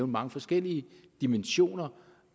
mange forskellige dimensioner